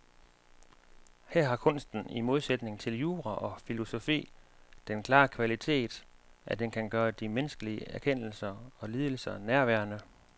Her har kunsten i modsætning til jura og filosofi den klare kvalitet, at den kan gøre de menneskelige erkendelser og lidelser nærværende.